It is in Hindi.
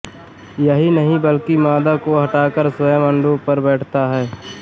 यही नहीं बल्कि मादा को हटाकर स्वयं अंडों पर बैठता है